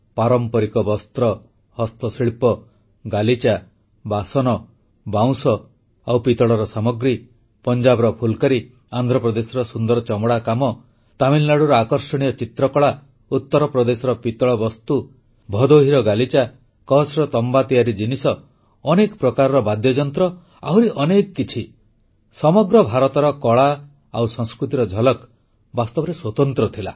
ପାରମ୍ପାରିକ ବସ୍ତ୍ର ହସ୍ତଶିଳ୍ପ ଗାଲିଚା ବାସନ ବାଉଁଶ ଆଉ ପିତଳର ସାମଗ୍ରୀ ପଞ୍ଜାବର ଫୁଲ୍କାରୀ ଆନ୍ଧ୍ରପ୍ରଦେଶର ସୁନ୍ଦର ଚମଡ଼ା କାମ ତାମିଲନାଡ଼ୁର ଆକର୍ଷଣୀୟ ଚିତ୍ରକଳା ଉତ୍ତରପ୍ରଦେଶର ପିତଳ ବସ୍ତୁ ଭଦୋହିର ଗାଲିଚା କଚ୍ଛର ତମ୍ବା ତିଆରି ଜିନିଷ ଅନେକ ପ୍ରକାର ବାଦ୍ୟଯନ୍ତ୍ର ଆହୁରି ଅନେକ କିଛି ସମଗ୍ର ଭାରତର କଳା ଓ ସଂସ୍କୃତିର ଝଲକ୍ ବାସ୍ତବରେ ସ୍ୱତନ୍ତ୍ର ଥିଲା